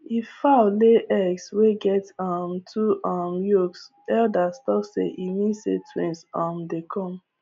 if fowl lay eggs wey get um two um yolks elders talk say e mean say twins um dey come